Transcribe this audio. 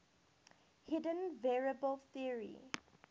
hidden variable theory